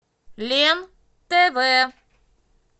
лен тв